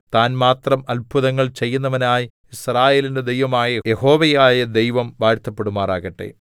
താൻ മാത്രം അത്ഭുതങ്ങൾ ചെയ്യുന്നവനായി യിസ്രായേലിന്റെ ദൈവമായി യഹോവയായ ദൈവം വാഴ്ത്തപ്പെടുമാറാകട്ടെ